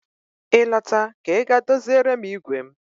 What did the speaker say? Ị lọta ka Ị gaa doziere m igwe m